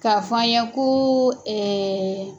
K'a fɔ an ye ko